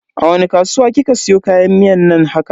A wani kasuwa kika siyo kayan miyan nan haka?